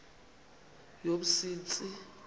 yomsintsi